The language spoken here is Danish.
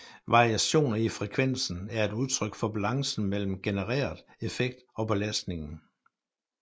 Variationer i frekvensen er et udtryk for balancen mellem genereret effekt og belastningen